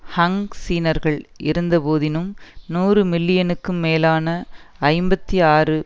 ஹன் சீனர்கள் இருந்த போதினும் நூறு மில்லியனுக்கும் மேலான ஐம்பத்தி ஆறு